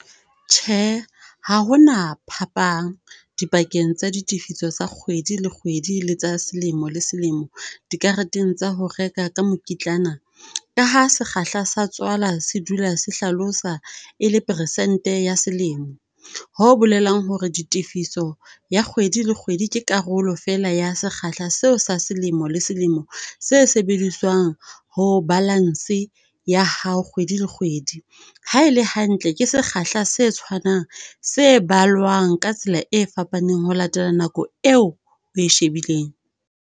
Tjhe! Ha ho na phapang dipakeng tsa ditifiso tsa kgwedi le kgwedi le tsa selemo le selemo, dikarateng tsa ho reka ka mokitlana, ka ha sekgahla sa tswala se dula se hlalosa e le peresente ya selemo, ho bolelang hore ditefiso ya kgwedi le kgwedi ke karolo fela ya sekgahla seo sa selemo le selemo, se sebediswang ho balance ya hao kgwedi le kgwedi. Ha e le hantle, ke sekgahla sa tshwanang, se balwang ka tsela e fapaneng ho latela nako eo oe shebileng.